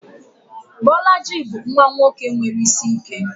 Bolaji bụ nwa nwoke nwere isi ike.